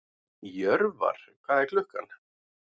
Jörvar, hvað er klukkan?